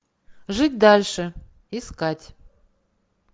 жить дальше искать